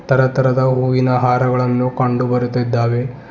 ತರ ತರದ ಹೂವಿನ ಹಾರಗಳನ್ನು ಕಂಡು ಬರುತ್ತಿದ್ದಾವೆ.